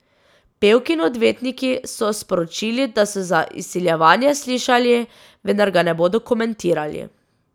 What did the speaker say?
Pevkini odvetniki so sporočili, da so za izsiljevanje slišali, vendar ga ne bodo komentirali.